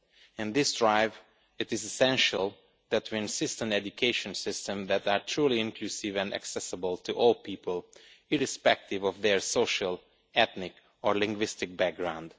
In this drive, it is essential that we insist on education systems that are truly inclusive and accessible to all people, irrespective of their social, ethnic or linguistic background.